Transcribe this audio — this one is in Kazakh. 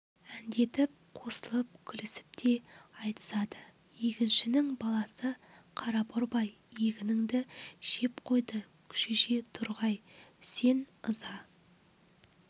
әндетіп қосылып күлісіп те айтысады егіншінің баласы қара борбай егінінді жеп қойды шөже торғай үсен ыза